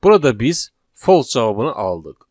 Burada biz false cavabını aldıq.